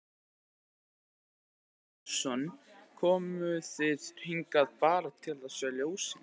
Kjartan Hreinn Njálsson: Komuð þið hingað bara til að sjá ljósin?